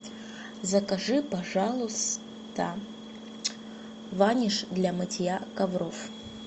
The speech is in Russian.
закажи пожалуйста ваниш для мытья ковров